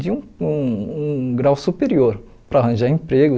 de um um um grau superior para arranjar emprego.